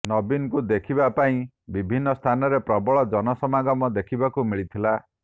ନବୀନଙ୍କୁ ଦେଖିବା ପାଇଁ ବିଭିନ୍ନ ସ୍ଥାନରେ ପ୍ରବଳ ଜନ ସମାଗମ ଦେଖିବାକୁ ମିଳିଥିଲା